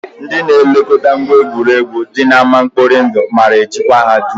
Ndị na-elekọta ngwa egwuregwu dị n'ámá mkpori ndụ maara ejikwa ha dum